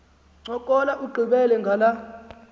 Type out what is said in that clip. ncokola ugqibele ngala